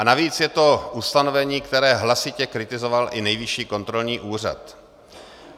A navíc je to ustanovení, které hlasitě kritizoval i Nejvyšší kontrolní úřad.